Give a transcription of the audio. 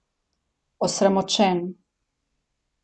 Osramočen.